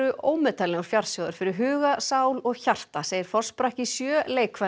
ómetanlegur fjársjóður fyrir huga sál og hjarta segir forsprakki sjö